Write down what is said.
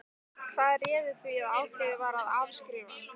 Hvað réði því að ákveðið var að afskrifa?